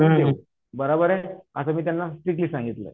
हा बराबर हे अस मी त्यांना स्ट्रीक्टली सांगितलय आहे